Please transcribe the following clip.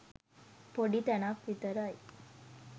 පොඩි තැනක් විතරයි.